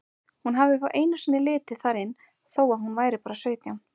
Hún hafði einu sinni litið þar inn þó að hún væri bara sautján.